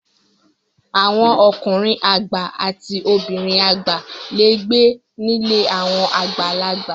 Àwọn ọkùnrin àgbà àti obìnrin àgbà le gbé nílé àwọn àgbàlagbà.